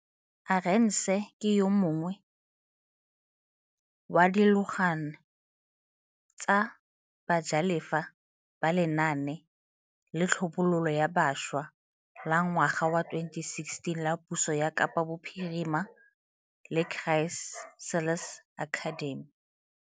Arendse ke yo mongwe wa dialogane tsa bajalefa ba lenaane la tlhabololo ya bašwa la ngwaga wa 2016 la puso ya Kapa Bophirima la Chrysalis Academy.